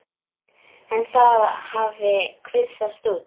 En það hafi kvisast út.